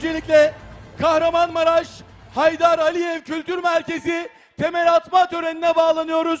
Öncəliklə Kahramanmaraş, Heydər Əliyev Kültür Mərkəzi təməl atma törəninə bağlanırıq.